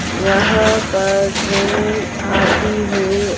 यहाँ पर ट्रैन आती है।